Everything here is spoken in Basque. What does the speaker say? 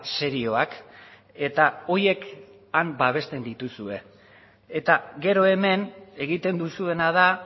serioak eta horiek han babesten dituzue eta gero hemen egiten duzuena da